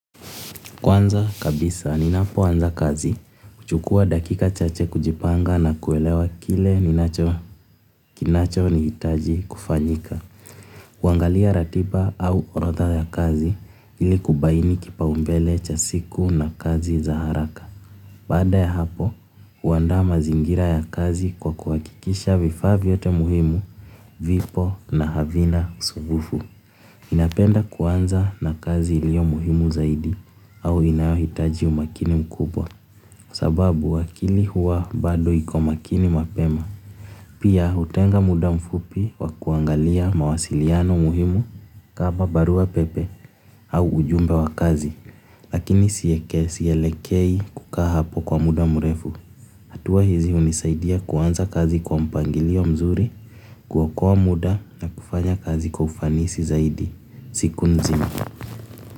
Kwanza kabisa, ninapo anza kazi, kuchukua dakika chache kujipanga na kuelewa kile ninacho nihitaji kufanyika. Kuangalia ratiba au orodha ya kazi ili kubaini kipa umbele cha siku na kazi za haraka. Baada ya hapo, huandaa mazingira ya kazi kwa kuwakikisha vifaa vyote muhimu, l vipo na havina usugufu. Napenda kuanza na kazi iliyo muhimu zaidi au inayohitaji umakini mkubwa sababu akili huwa bado iko makini mapema. Pia hutenga muda mfupi wa kuangalia mawasiliano muhimu kama barua pepe au ujumbe wa kazi. Lakini sielekei kukaa hapo kwa muda mrefu. Hatuwa hizi hunisaidia kuanza kazi kwa mpangilio mzuri, ku okoa muda na kufanya kazi kwa ufanisi zaidi. Siku nzima.